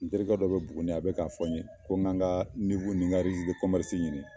N terikɛ dɔ bɛ Buguni a bɛ k'a fɔ n ye, ko n kan n ka ɲini.